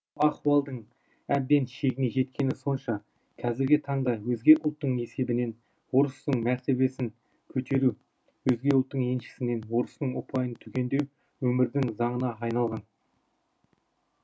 ахуалдың әбден шегіне жеткені сонша қазіргі таңда өзге ұлттың есебінен орыстың мәртебесің көтеру өзге ұлттың еншісінен орыстың ұпайын түгендеу өмірдің заңына айналған